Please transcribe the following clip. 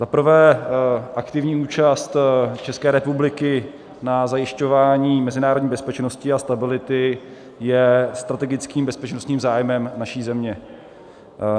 Za prvé, aktivní účast České republiky na zajišťování mezinárodní bezpečnosti a stability je strategickým bezpečnostním zájmem naší země.